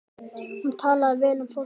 Hún talaði vel um fólk.